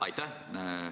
Aitäh!